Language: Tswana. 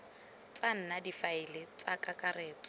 tsa nna difaele tsa kakaretso